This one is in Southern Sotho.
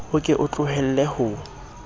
o ke o tlohelle ho